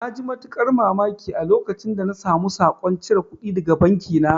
Na ji matuƙar mamaki a lokacin da na samu saƙon cire kudi daga banki na